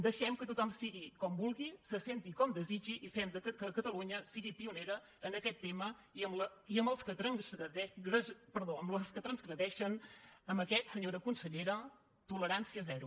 deixem que tothom sigui com vulgui se senti com desitgi i fem que catalunya sigui pionera en aquest tema i amb els que transgredeixen amb aquests senyora consellera tolerància zero